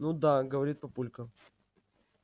ну да говорит папулька